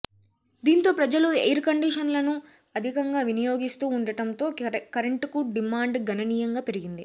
దీంతో ప్రజలు ఎయిర్ కండిషన్లను అధికంగా వినియోగిస్తూ ఉండటంతో కరెంటుకు డిమాండ్ గణనీయంగా పెరిగింది